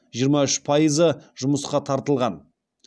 жиырма үш пайызы жұмысқа тартылған